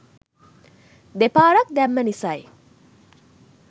දෙපාරක් දැම්ම නිසයි